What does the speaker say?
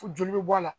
Fo joli bɛ bɔ a la